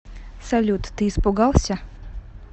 салют ты испугался